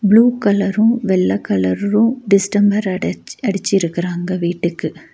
Blue கலரும் வெள்ள கலரும் டிஸ்டம்பர் அடிச் அடிச்சிருக்கறாங்க வீட்டுக்கு.